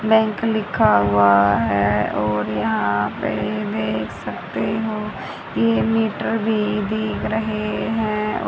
Bank लिखा हुआ है और यहां पे देख सकते हो ये मीटर भी दिख रहे है।